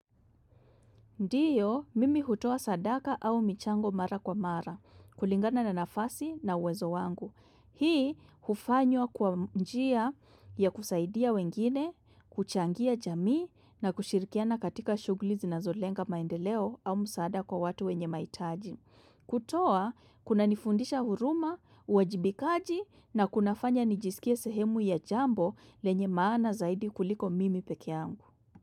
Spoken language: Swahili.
Ndiyo, mimi hutoa sadaka au michango mara kwa mara, kulingana na nafasi na uwezo wangu. Hii, hufanywa kwa njia ya kusaidia wengine, kuchangia jamii na kushirikiana katika shughuli zinazolenga maendeleo au msaada kwa watu wenye mahitaji. Kutoa, kuna nifundisha huruma, uwajibikaji na kunafanya nijisikie sehemu ya jambo lenye maana zaidi kuliko mimi peke yangu.